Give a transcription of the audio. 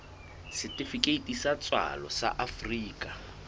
setifikeiti sa tswalo sa afrika